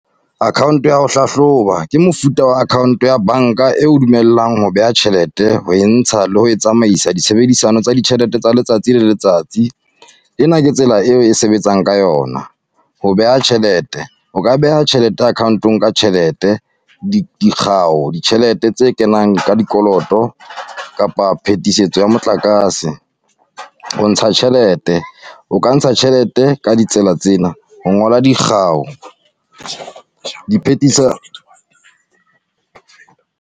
Account-o ya ho hlahloba, ke mofuta wa account-o ya banka e o dumellang ho beha tjhelete. Ho e ntsha le ho tsamaisa, di tshebedisano tsa ditjhelete tsa letsatsi le letsatsi. Ena ke tsela e o e sebetsang ka yona, ho beha tjhelete. O ka beha tjhelete account-ong ka tjhelete dikgao, ditjhelete tse kenang ka dikoloto, kapa phetisetso ya motlakase. O ntsha tjhelete, o ka ntsha tjhelete ka ditsela tsena, ho ngola dikgao.